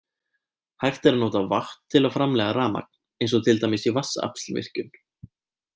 Hægt er að nota vatn til að framleiða rafmagn eins og til dæmis í vatnsaflsvirkjun.